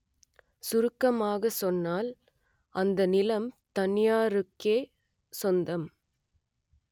சுருக்கமாக சொன்னால் அந்த நிலம் தனியாருக்கே சொந்தம்